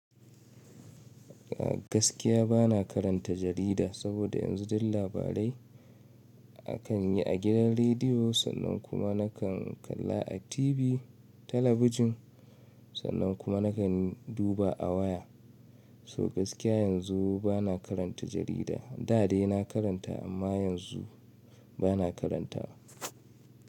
Gaskiya bana karanta jarida, saboda yanzu duk labarai akan yi a gidan rediyo, sannan kuma nakan kalla a TV talabijin, sannan kuma nake duba a waya. So gaskiya yanzu bana karanta jarida. Da dai na karanta amma yanzu bana karanta.